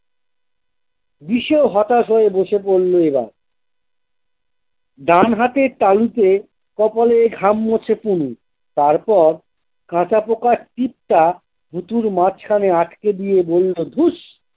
বিশেও হতাশ হয়ে বসে পড়লো এবার ডানহাতের তালুতে কপালের ঘাম মোছে পুলু তারপর কাঁটা পকার টিপটা পুতুর মাঝখানে আটকে দিয়ে বলল ধুস।